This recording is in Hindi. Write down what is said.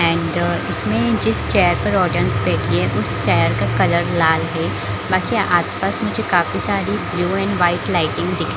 एंड इसमें जिस चेयर पर ऑडियंस बैठी है उस चेयर का कलर लाल है बाकि आस-पास में जो काफी सारी ब्लू एंड वाइट लाइटिंग दिख--